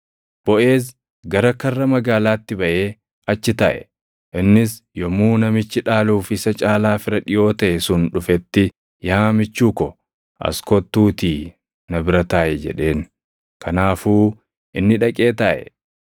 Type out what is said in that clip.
Boʼeez gara karra magaalaatti baʼee achi taaʼe. Innis yommuu namichi dhaaluuf isa caalaa fira dhiʼoo taʼe sun dhufetti, “Yaa michuu ko, as kottuutii na bira taaʼi” jedheen. Kanaafuu inni dhaqee taaʼe.